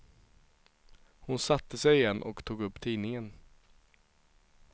Hon satte sig igen och tog upp tidningen.